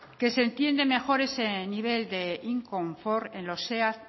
que se entiende mejor ese nivel de inconfort en los seat